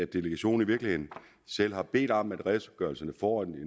delegationen i virkeligheden selv har bedt om at redegørelserne får et